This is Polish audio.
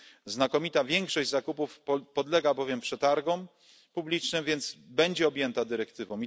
Znakomita większość zakupów podlega bowiem przetargom publicznym, więc będzie objęta dyrektywą.